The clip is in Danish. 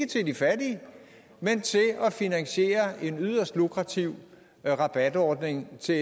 til de fattige men til at finansiere en yderst lukrativ rabatordning til